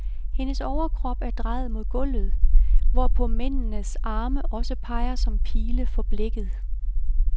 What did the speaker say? Hendes overkrop er drejet mod gulvet, hvorpå mændenes arme også peger som pile for blikket.